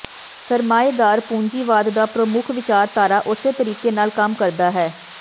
ਸਰਮਾਏਦਾਰ ਪੂੰਜੀਵਾਦ ਦਾ ਪ੍ਰਮੁੱਖ ਵਿਚਾਰਧਾਰਾ ਉਸੇ ਤਰੀਕੇ ਨਾਲ ਕੰਮ ਕਰਦਾ ਹੈ